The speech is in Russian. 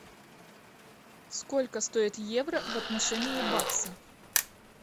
сколько стоит евро в отношении бакса